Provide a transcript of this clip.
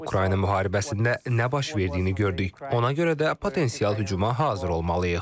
Ukrayna müharibəsində nə baş verdiyini gördük, ona görə də potensial hücuma hazır olmalıyıq.